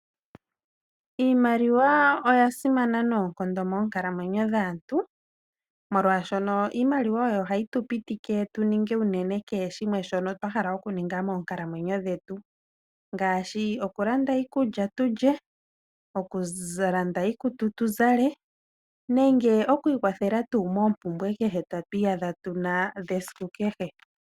Iimaliwa oyasimana nonkondo moonkalamwenyo dhaantu, molwashono iimaliwa oyo hayitupitike tuninge unene kehe shimwe shono twahala okuningapo nga moonkalamwenyo dhetu, ngashi okulanda iikulya tulye, okulanda iikutu tuzale nenge okwikwathela tu mopumbwe atwiyadha tuna dhesiku kehe.